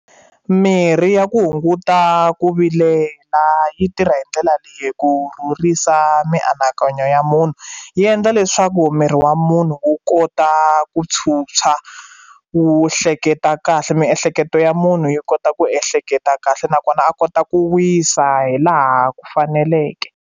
Mirhi ya ku hunguta ku vilela yi tirha hi ndlela leyi ku mianakanyo ya munhu yi endla leswaku miri wa munhu wu kota ku tshwutshwa ku hleketa kahle miehleketo ya munhu yi kota ku ehleketa kahle nakona a kota ku wisa hi laha ku faneleke.